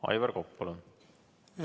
Aivar Kokk, palun!